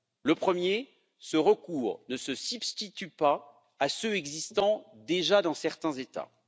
Le premier, ce recours ne se substitue pas à ceux existant déjà dans certains états.